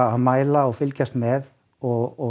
að mæla og fylgjast með og